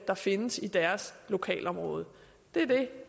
der findes i deres lokalområde det er det